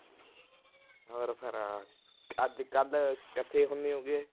ਹੋਰ ਫਿਰ ਅੱਜ-ਕੱਲ੍ਹ ਕਿੱਥੇ ਹੁੰਦੇ ਹੋਗੇ।